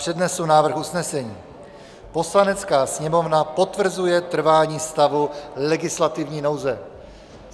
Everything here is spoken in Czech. Přednesu návrh usnesení: "Poslanecká sněmovna potvrzuje trvání stavu legislativní nouze."